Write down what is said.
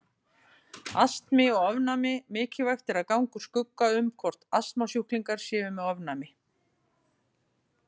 Astmi og ofnæmi Mikilvægt er að ganga úr skugga um hvort astmasjúklingar séu með ofnæmi.